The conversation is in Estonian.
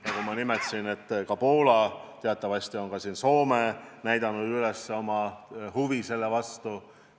Nagu ma ütlesin, on Poola ja teatavasti ka Soome näidanud selle vastu üles huvi.